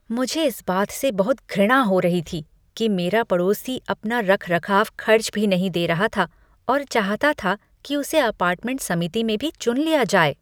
मुझे इस बात से बहुत घृणा हो रही थी कि मेरा पड़ोसी अपना रखरखाव खर्च भी नहीं दे रहा था और चाहता था कि उसे अपार्टमेंट समिति में भी चुन लिया जाए।